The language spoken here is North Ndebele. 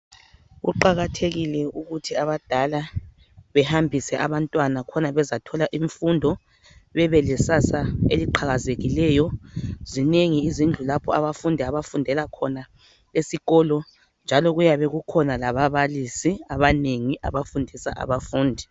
Kuqakathekile ukuthi abadala behambise abantwana, khona bezathola imfundo. Bebe lekusasa eliqhakazileyo. Zinengi izindlu lapho abafundi abafundela khona esikolo, njalo kuyabe kukhona lababalisi, abanengi. Abafundisa abafundi.